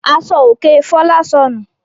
Aṣọòkè Fọlá sọnù.